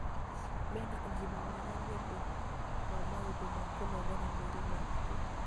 Mena ũgima mwega nĩ ũndũ wa maũndũ ma kũnogora mwĩrĩ mahiu.